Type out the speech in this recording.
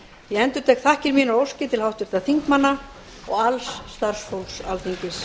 ég endurtek þakkir mínar og óskir til háttvirtra þingmanna og alls starfsfólks alþingis